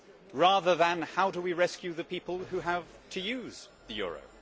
rather than how do we rescue the people who have to use the euro?'